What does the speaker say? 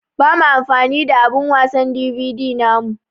Ba mu amfani da abun wasan DVD namu.